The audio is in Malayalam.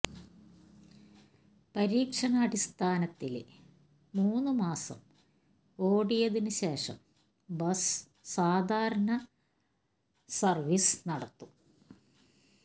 പരീക്ഷണാടിസ്ഥാനത്തില് മൂന്ന് മാസം ഓടിയതിന് ശേഷം ബസ് സാധാരണ സര്വീസ് നടത്തും